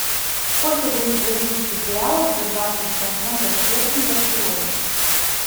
сколько дают бразильских реалов за двадцать семь фунтов стерлингов сегодня